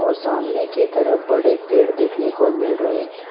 और सामने की तरफ बड़े पेड़ देखने को मिल रहे।